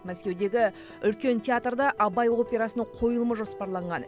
мәскеудегі үлкен театрда абай операсының қойылымы жоспарланған